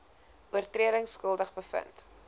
oortredings skuldig bevind